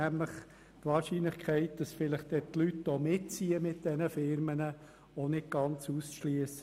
Die Möglichkeit, dass die Leute mit den Firmen mitziehen, ist nicht ganz auszuschliessen.